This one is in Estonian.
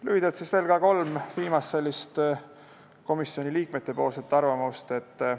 Lühidalt veel kolm viimast komisjoni liikmete arvamust.